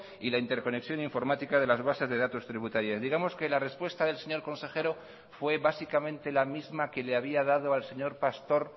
y la interconexión informática de las bases de datos tributarias digamos que la respuesta del señor consejero fue básicamente la misma que le había dado al señor pastor